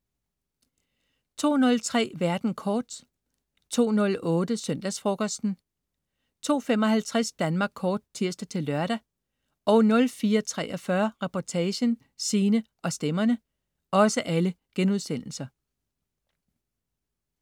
02.03 Verden kort* 02.08 Søndagsfrokosten* 02.55 Danmark Kort* (tirs-lør) 04.43 Reportagen: Sine og stemmerne*